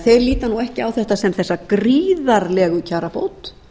þeir líta því ekki á þetta sem þessa gríðarlegu kjarabót